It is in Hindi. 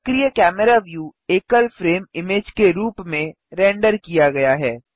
सक्रिय कैमरा व्यू एकल फ्रेम इमेज़ के रूप में रेंडर किया गया है